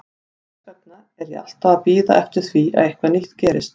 Þess vegna er ég alltaf að bíða eftir því að eitthvað nýtt gerist.